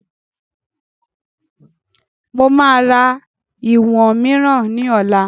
Mo máa ra ìwọ̀n mìíràn ni ọ̀la